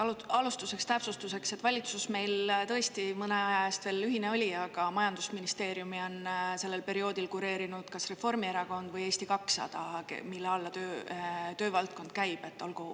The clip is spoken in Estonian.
Just, alustuseks täpsustuseks, et valitsus meil tõesti mõne aja eest veel ühine oli, aga majandusministeeriumi on sellel perioodil kureerinud kas Reformierakond või Eesti 200, mille alla töövaldkond käib.